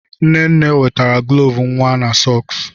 Nne nne nwetara gloves nwa na sọks.